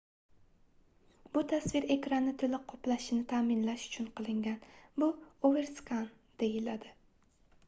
bu tasvir ekranni toʻliq qoplashini taʼminlash uchun qilingan bu overskan deyiladi